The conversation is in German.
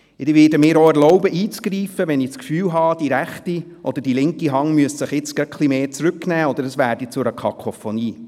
Ich werde mir auch erlauben einzugreifen, wenn ich das Gefühl habe, die rechte oder die linke Hand müsse sich etwas stärker zurücknehmen, oder es werde zur Kakophonie.